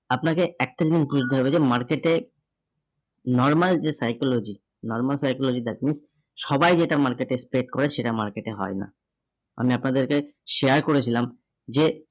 আপনাকে একটা জিনিস বুজতে হবে যে market এ normal যে psychology, normal psychology that means, সবাই যেটা market এ trade করে সেটা market এ হয় না। আমি আপনাদেরকে share করেছিলাম যে